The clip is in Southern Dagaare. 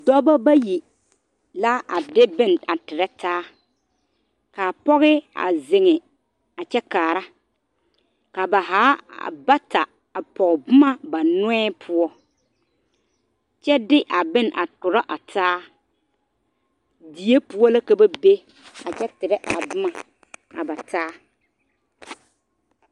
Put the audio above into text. Dɔbɔ bayi la a de bo.ne a tere taa ka pɔge zeŋ a kyɛ kaare ka ba zaa bata leŋe boma ba noɔ poɔ kyɛ de a bone a korɔ a taa dii poɔ la ka ba bee kyɛ tere a boma a taa a ba taa